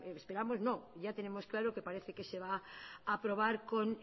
esperamos no ya tenemos claro que parece que se va a aprobar